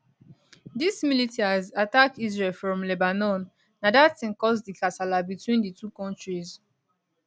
diz militias attack israel from lebanon na dat tin cause di kasala between di two kontris